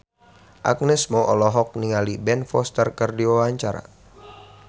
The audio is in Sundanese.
Agnes Mo olohok ningali Ben Foster keur diwawancara